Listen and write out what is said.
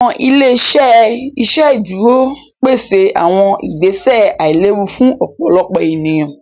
Awọn ile-iṣẹ iṣẹdúró péṣè awọn ìgbèsẹ̀ àìlẹ̀wù fún ọ̀pọ̀lọ̀pọ̀ ènìyàn